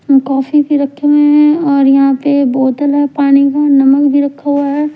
Coffee भी रखी है और यहां पे बोतल है पानी है नमक भी रखा हुआ है ।